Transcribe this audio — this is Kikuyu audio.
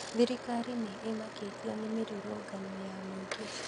Thirikarĩ nĩ ĩmakĩtio nĩ mĩrũrũngano ya mũingĩ